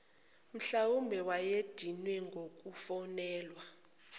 mhlwawumbe wayedinwe ngukufonelwa